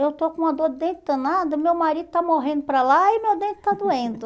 Eu estou com uma dor de dente danada, meu marido está morrendo para lá e meu dente está doendo.